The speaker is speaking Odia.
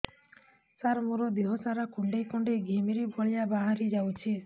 ସାର ମୋର ଦିହ ସାରା କୁଣ୍ଡେଇ କୁଣ୍ଡେଇ ଘିମିରି ଭଳିଆ ବାହାରି ଯାଉଛି